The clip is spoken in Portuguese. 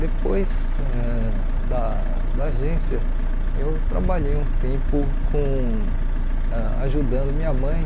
Depois ãh da da agência, eu trabalhei um tempo com ãh ajudando minha mãe.